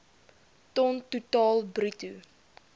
ton totaal bruto